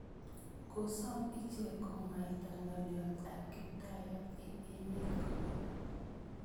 Kosom ichek komwaita ng'alyot ap Kiptaiyat eng' emet komukul